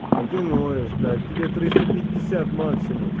а ты ноешь блять тебе триста пятьдесят максимум